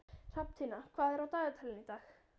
Hrafntinna, hvað er á dagatalinu í dag?